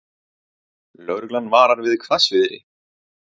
Lögreglan varar við hvassviðri